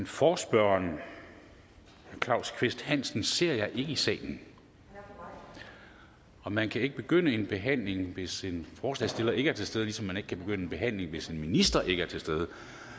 forespørgeren herre claus kvist hansen ser jeg ikke i salen og man kan ikke begynde en behandling hvis en forslagsstiller ikke er til stede ligesom man ikke kan begynde en behandling hvis en minister ikke er til stede